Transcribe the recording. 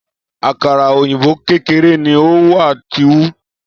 Akara oyinbo kekere ni o wa ti nhu